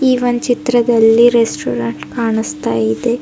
ಈ ಒಂದ್ ಚಿತ್ರದಲ್ಲಿ ರೆಸ್ಟೋರೆಂಟ್ ಕಾಣಿಸ್ತಾ ಇದೆ.